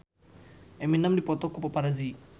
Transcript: Eminem dipoto ku paparazi